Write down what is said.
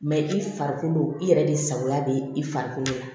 i farikolo i yɛrɛ de sagoya bɛ i farikolo la